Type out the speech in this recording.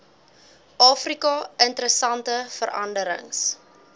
afrika interessante veranderings